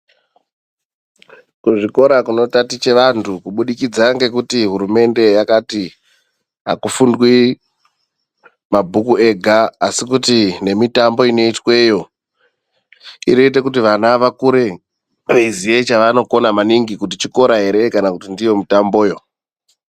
Kuzvikora kunotaticha vantu kubudikidza ngekuti hurumende yakati akufundwi mabhuku ega asi kuti nemitambo inoitweyo inoite kuti vana vakure veiziya chavanona maningi kuti chikora ere kana kuti ndiyo mitamboyo.